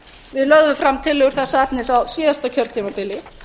við lögðum fram tillögur þessa efnis á síðasta kjörtímabili